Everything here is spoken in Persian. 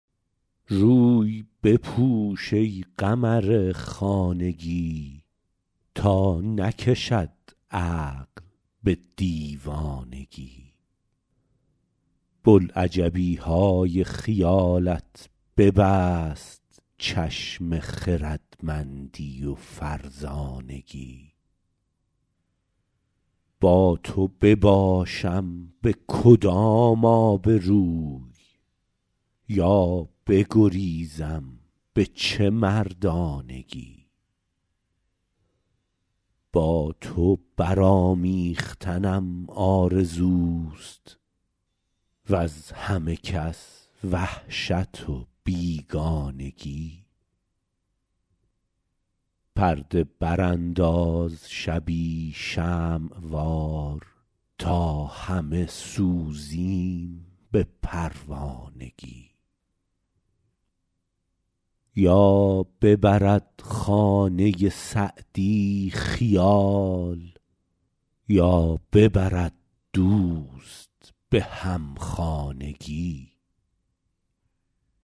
روی بپوش ای قمر خانگی تا نکشد عقل به دیوانگی بلعجبی های خیالت ببست چشم خردمندی و فرزانگی با تو بباشم به کدام آبروی یا بگریزم به چه مردانگی با تو برآمیختنم آرزوست وز همه کس وحشت و بیگانگی پرده برانداز شبی شمع وار تا همه سوزیم به پروانگی یا ببرد خانه سعدی خیال یا ببرد دوست به همخانگی